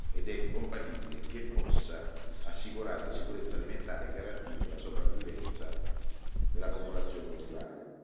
ed ecocompatibile, che possa assicurare la sicurezza alimentare e garantire la sopravvivenza della popolazione rurale.